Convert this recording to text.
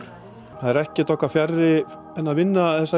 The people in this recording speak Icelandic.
það er ekkert okkur fjarri en að vinna þessa